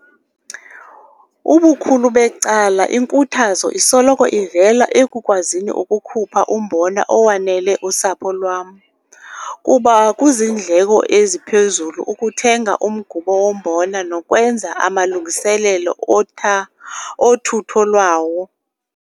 Ubukhulu becala, inkuthazo isoloko ivela ekukwazini ukukhupha umbona owanele usapho lwam kuba kuziindleko eziphezulu ukuthenga umgubo wombona nokwenza amalungiselelo otha othutho lwawo.